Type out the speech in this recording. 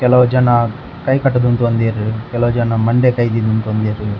ಕೆಲವುಜನ ಕೈ ಕಟುದ್ ಉಂತೊಂದೆರ್ ಕೆಲವು ಜನ ಮಂಡೆಗ್ ಕೈ ದೀದ್ ಉಂತೊಂದೆರ್.